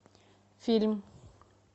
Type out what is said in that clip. фильм